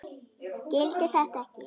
Skildi þetta ekki.